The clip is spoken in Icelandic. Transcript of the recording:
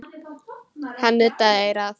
Hann nuddaði eyrað.